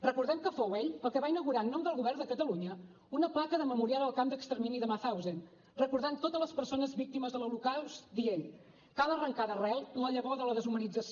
recordem que fou ell el que va inaugurar en nom del govern de catalunya una placa de memorial al camp d’extermini de mauthausen recordant totes les persones víctimes de l’holocaust dient cal arrencar d’arrel la llavor de la deshumanització